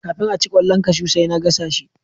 Kafin aci kwallon kashu sai na gasa shi